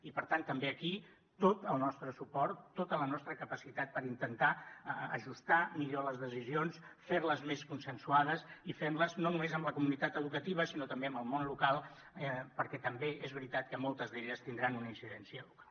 i per tant també aquí tot el nostre suport tota la nostra capacitat per intentar ajustar millor les decisions fer les més consensuades i fer les no només amb la comunitat educativa sinó també amb el món local perquè també és veritat que moltes d’elles tindran una incidència local